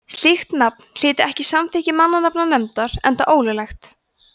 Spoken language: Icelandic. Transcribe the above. slíkt nafn hlyti ekki samþykki mannanafnanefndar enda ólöglegt